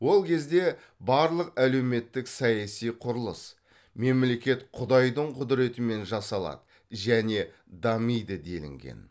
ол кезде барлық әлеуметтік саяси құрылыс мемлекет құдайдың құдіретімен жасалады және дамиды делінген